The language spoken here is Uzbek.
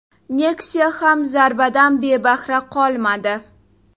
Nexia ham zarbadan bebahra qolmadi.